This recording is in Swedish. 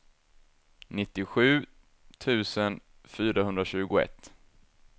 nittiosju tusen fyrahundratjugoett